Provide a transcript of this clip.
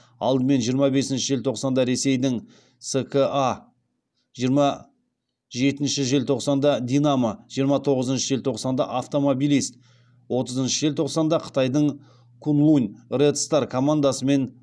алдымен жиырма бесінші желтоқсанда ресейдің ска жиырма жетінші желтоқсанда динамо жиырма тоғызыншы желтоқсанда автомобилист отызыншы желтоқсанда қытайдың куньлунь ред стар командасымен